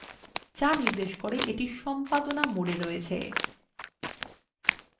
যা নির্দেশ করে এইটি সম্পাদনা mode রয়েছে